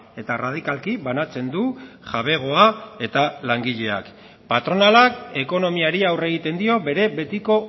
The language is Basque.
eta erradikalki banatzen du jabegoa eta langileak patronalak ekonomiari aurre egiten dio bere betiko